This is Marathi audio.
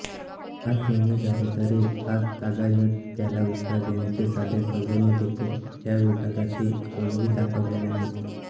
आठ महिने झाले तरी आजतागायत त्याला उत्तर देण्याचे साधे सौजन्यदेखील या विभागातील कोणीही दाखवलेले नाही